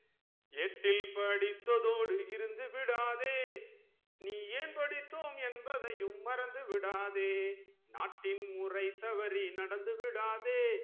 ஏட்டில் படித்தத்தோடு இருந்துவிடாதே நீ ஏன் படித்தோம் என்பதையும் மறந்துவிடாதே நாட்டின் முறை தவறி நடந்து விடாதே